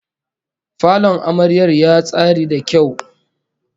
Falon amaryar ya tsari da kyau